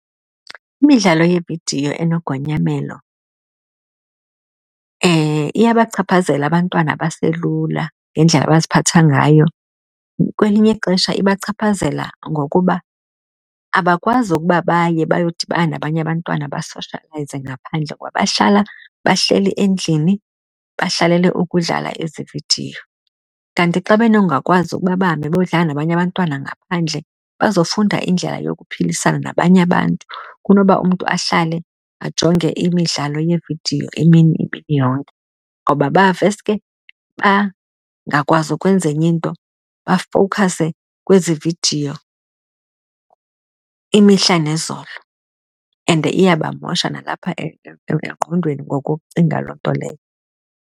Imidlalo yeevidiyo enegonyamelo iyabachaphazela abantwana abaselula ngendlela abaziphatha ngayo, kwelinye ixesha ibachaphazela ngokuba abakwazi ukuba baye bayodibana nabanye abantwana basoshoyelayzie ngaphandle ngoba bahlala bahleli endlini bahlalele ukudlala ezi vidiyo. Kanti xa benongakwazi ukuba bahambe bodlala nabanye abantwana ngaphandle bazofunda indlela yokuphilisana nabanye abantu kunoba umntu ahlale ajonge imidlalo yeevidiyo emini imini yonke. Ngoba baveske bangakwazi ukwenza enye into, bafowukhase kwezi vidiyo imihla nezolo. And iyabamosha nalapha engqondweni ngokucinga loo nto leyo.